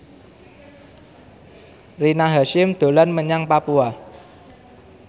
Rina Hasyim dolan menyang Papua